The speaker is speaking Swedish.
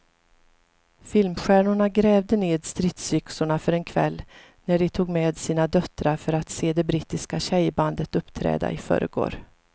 Filmstjärnorna grävde ned stridsyxorna för en kväll när de tog med sina döttrar för att se det brittiska tjejbandet uppträda i förrgår.